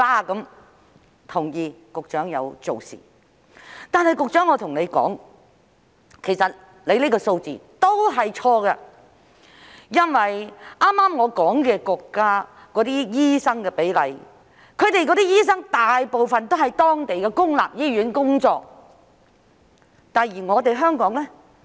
我同意局長有做事，但我要跟局長說，其實她的數字是錯的，因為我剛才提到的國家的醫生比例，醫生大部分都在當地的公立醫院工作，而香港呢？